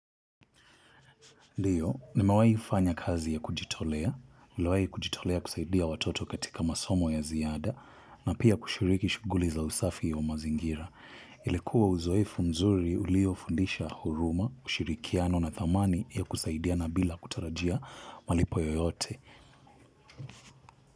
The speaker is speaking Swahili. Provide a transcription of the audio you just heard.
Ndio, nimewahifanya kazi ya kujitolea, niliwahi kujitolea kusaidia watoto katika masomo ya ziada, na pia kushiriki shughuli za usafi wa mazingira. Ilikuwa uzoefu mzuri uliofundisha huruma, ushirikiano na thamani ya kusaidiana bila kutarajia malipo yoyote.